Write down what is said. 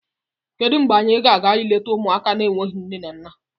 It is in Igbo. Kedu mgbe anyị gaa n'ụlọ ụmụaka enweghị nne na nna!